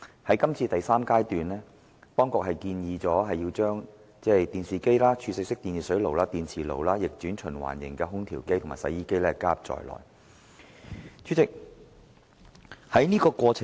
在這第三階段，當局建議將電視機、儲水式電熱水器、電磁爐、逆轉循環型空調機及洗衣機加入涵蓋範圍。